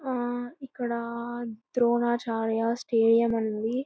ఆ ఇక్కడ ద్రోణాచార్య స్టేడియం ఉంది.